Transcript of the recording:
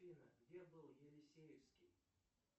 афина где был елисеевский